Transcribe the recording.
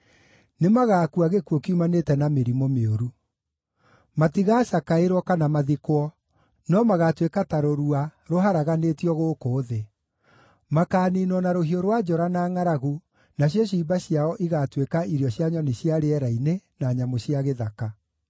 “Nĩmagakua gĩkuũ kiumanĩte na mĩrimũ mĩũru. Matigaacakaĩrwo kana mathikwo, no magaatuĩka ta rũrua rũharaganĩtio gũkũ thĩ. Makaaniinwo na rũhiũ rwa njora na ngʼaragu, nacio ciimba ciao igatuĩka, irio cia nyoni cia rĩera-inĩ na nyamũ cia gĩthaka.”